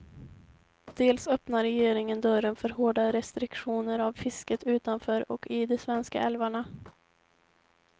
Dels öppnar regeringen dörren för hårda restriktioner av fisket utanför och i de svenska älvarna.